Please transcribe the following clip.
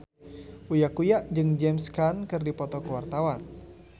Uya Kuya jeung James Caan keur dipoto ku wartawan